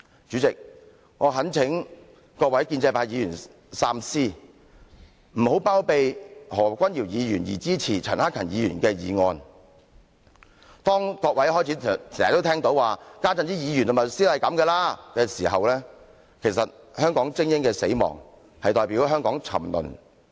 主席，我懇請各位建制派議員三思，不要包庇何君堯議員而支持陳克勤議員的議案，當各位開始經常聽到有人說："現在的議員和律師是這樣的了"時，其實香港精英的死亡正代表香港的沉淪。